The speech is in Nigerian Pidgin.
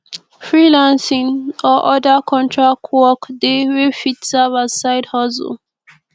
freelancing or other contract work de wey fit serve as side hustle